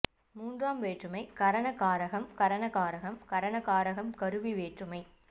மூன்றாம் வேற்றுமை கரண காரகம் கரண காரகம் கரண காரகம் கருவி வேற்றுமை